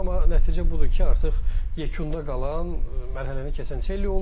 Amma nəticə budur ki, artıq yekunda qalan mərhələni keçən Çelli oldu.